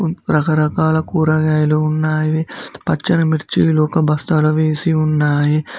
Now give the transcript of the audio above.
రకరకాల కూరగాయలు ఉన్నావి పచ్చని మిర్చి లొక బస్తాల వేసి ఉన్నాయి.